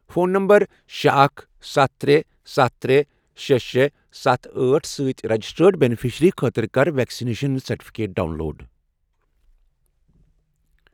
Phone numbers شے، اکھ، سَتھ، ترے، سَتھ، ترے، شے، شے، ستَھ، أٹھ، سۭتۍ رجسٹرڈ بیٚنِفشری خٲطرٕ کر ویکسِنیشن سرٹِفکیٹ ڈاؤن لوڈ۔